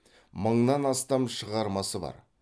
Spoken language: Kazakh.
мыңнан астам шығармасы бар